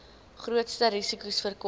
grootste risikos voorkom